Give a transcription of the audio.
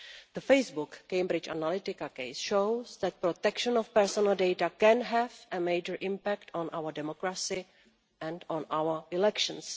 The Facebook Cambridge Analytica case shows that protection of personal data can have a major impact on our democracy and on our elections.